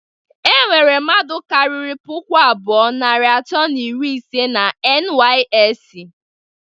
E nwere mmadụ kariri puku abụọ, narị atọ na iri ise na NYSC